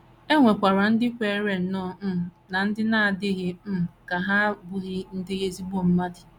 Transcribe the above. E nwekwara ndị kweere nnọọ um na ndị na - adịghị um ka ha abụghị ndị ezigbo mmadụ.